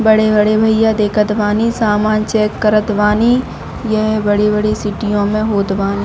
बड़े-बड़े भैया देखत बानी सामान चेक करत बानी यह बड़ी-बड़ी सिटीयों में होत बानी।